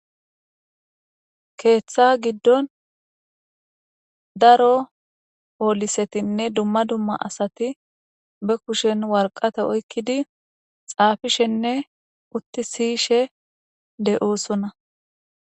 keeththa giddon daro poolisetinne dumma dumma asati be kushen warqate oykkidi xaafishenne utti siyishe deyosona.